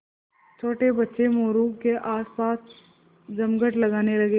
छोटे बच्चे मोरू के आसपास जमघट लगाने लगे